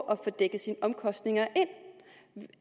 at få dækket sine omkostninger ind